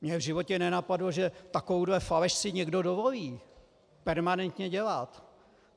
Mě v životě nenapadlo, že takovou faleš si někdo dovolí permanentně dělat.